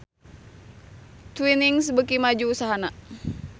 Twinings beuki maju usahana